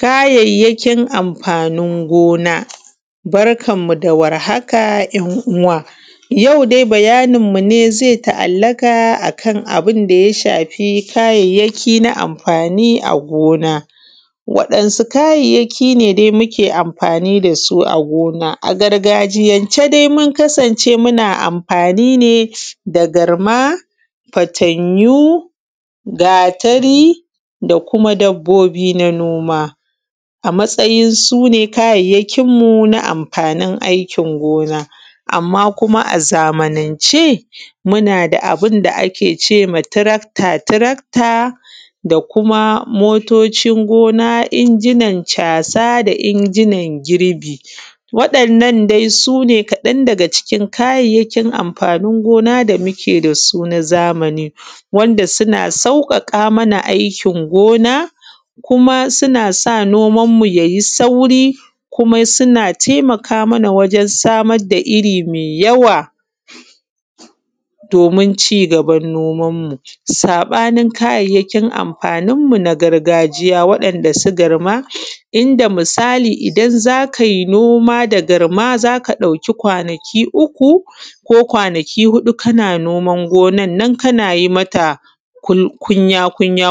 Kayayyakin amfanin gona. Barkan mu da warhaka ‘yan’ uwa yau dai bayin mu zai ta’allaka akan abunda ya shafi kayayyaki na amfani a gona. Wa ‘yan’su kayyaki ne dai muke amfani dasu a gona? A gargajiyan ce dai mun kasan ce muna mafani ne da garma, fatanyu, gatari da kuma dabbobi na noma, a matsayin sune kayayyakin mu na mafanin aikin noma. Amma kuma a zamanace muna da abunda a kecema Tirakta tirakta da kuma motocin gona, injinan casa, injinan girbi. Waɗannan dai sune kaɗan daga cikin kayayyakin amfani amfani gona damuke dasu na zamani wanda suna sauƙaƙa mana aikin gona kuma suna sa noman mu yai sauri kuma suna taimaka mana wajen samar da irri mai yawa domin cigaban noman mu. Saɓanin kayayyakinamafanin mu na gargajiya wanda su garma inda misali idan zakai noma da garma zaka ɗauki kwanaki uku ko kwanaki huɗu kana gona noman nan kanayi mata kunya kunya.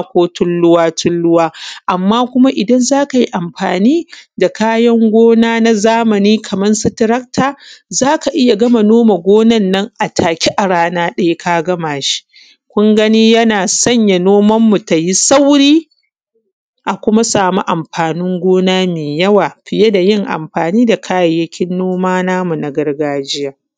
Amma kuma idan zakai amfani da kayan noma na zamani Kaman su tirakta zaka iyya gama gonan nan a take a rana ɗaya ka gama dashi kun gani yana sanya noman mu tayi sauri a kuma samu amfanin gona mai yawa fiy dayin amfani da kayyakin gona na gargajiya.